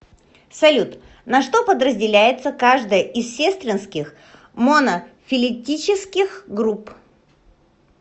салют на что подразделяется каждая из сестринских монофилетических групп